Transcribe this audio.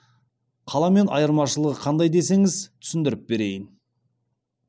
қаламен айырмашылығы қандай десеңіз түсіндіріп берейін